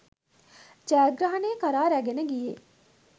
ජයග්‍රහණය කරා රැගෙන ගියේ